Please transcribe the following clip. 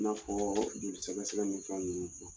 I n'a fɔ joli sɛgɛ sɛgɛ ni fɛn ninnu.